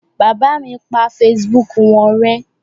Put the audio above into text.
Bàbá mi pa Facebook wọn rẹ́.